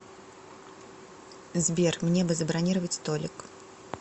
сбер мне бы забронировать столик